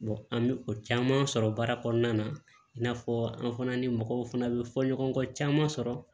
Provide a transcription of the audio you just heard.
an bɛ o caman sɔrɔ baara kɔnɔna na i n'a fɔ an fana ni mɔgɔw fana bɛ fɔ ɲɔgɔn kɔ caman sɔrɔ